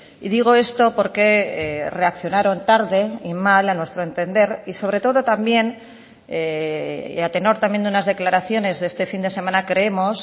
y digo esto porque reaccionaron tarde y mal a nuestro entender y sobre todo también a tenor también de unas declaraciones de este fin de semana creemos